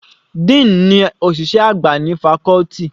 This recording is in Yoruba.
Dean ní òṣìṣẹ́ àgbà ní faculty.